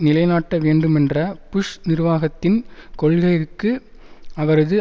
நிலைநாட்ட வேண்டுமென்ற புஷ் நிர்வாகத்தின் கொள்கைக்கு அவரது